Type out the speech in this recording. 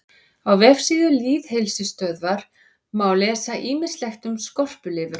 Á vefsíðu Lýðheilsustöðvar má lesa ýmislegt um skorpulifur.